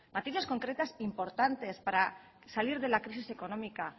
materias concretas importantes para salir de la crisis económica